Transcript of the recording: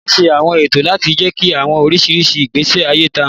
Ṣiṣe awọn eto lati jẹki awọn iriri igbesi aye ita